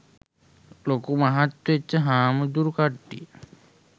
ලොකු මහත් වෙච්ච හාමුදුරු කට්ටිය.